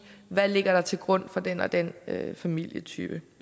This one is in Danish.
hvad der ligger til grund for den og den familietype